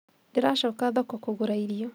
Ndĩracoka thoko kũgũra irio